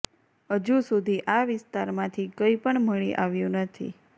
હજુ સુધી આ વિસ્તારમાંથી કંઈ પણ મળી આવ્યુ નથી